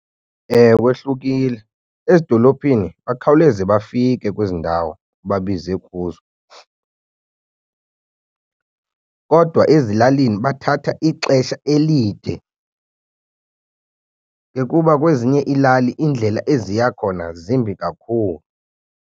Ewe, ehlukile ezidolophini bakhawuleze bafike kwezi ndawo babizwe kuzo, kodwa ezilalini bathatha ixesha elide ke kuba kwezinye iilali iindlela eziya khona zimbi kakhulu.